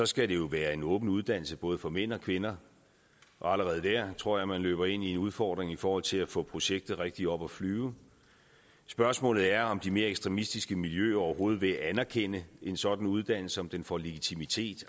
skal det jo være en åben uddannelse både for mænd og kvinder og allerede der tror jeg at man løber ind i en udfordring i forhold til at få projektet rigtig op at flyve spørgsmålet er om de mere ekstremistiske miljøer overhovedet vil anerkende en sådan uddannelse om den får legitimitet